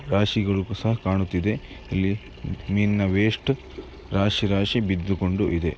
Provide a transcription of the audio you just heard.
ರಾಶಿಗಳು ಸಹ ಕಾಣುತ್ತಿವೆ ಇಲ್ಲಿ ಮೀನಿನ ವೇಸ್ಟು ರಾಶಿ ರಾಶಿ ಬಿದ್ದಿಕೊಂಡು ಇದೆ